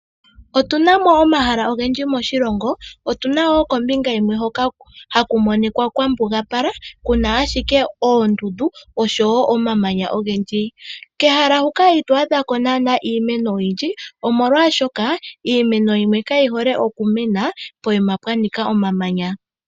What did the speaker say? Otuna mo omahala ogendji moshilongo. Otuna wo kombinga yimwe hoka haku monika kwambugapala kuna ashike oondundu oshowo omamanya ogendji. Kehala hoka ito adha ko naanaa iimeno oyindji omolwaashoka iimeno yimwe kayi hole okumena pehala pwa nika omamanya.